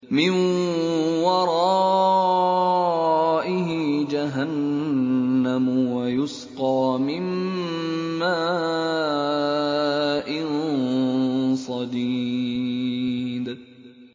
مِّن وَرَائِهِ جَهَنَّمُ وَيُسْقَىٰ مِن مَّاءٍ صَدِيدٍ